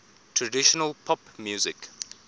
traditional pop music